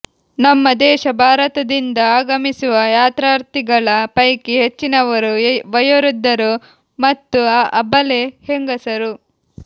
ನಮ್ಮ ದೇಶ ಭಾರತದಿಂದ ಆಗಮಿಸುವ ಯಾತ್ರಾರ್ಥಿಗಳ ಪೈಕಿ ಹೆಚ್ಚಿನವರು ವಯೋವೃದ್ಧರು ಮತ್ತು ಅಬಲೆ ಹೆಂಗಸರು